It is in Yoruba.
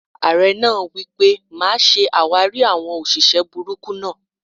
Ààrẹ náà wipe: "Máa ṣe àwárí àwọn òṣìṣẹ́ burúkú náà!"